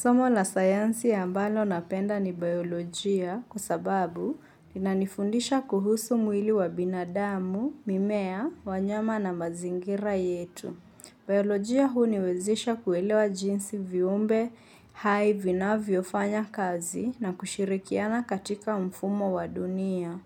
Somo la sayansi ambalo napenda ni biolojia kwa sababu linanifundisha kuhusu mwili wa binadamu, mimea, wanyama na mazingira yetu. Biolojia huu huniwezesha kuelewa jinsi viumbe hai vinavyfanya kazi na kushirikiana katika mfumo wa dunia.